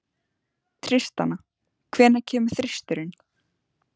Tristana, hvenær kemur þristurinn?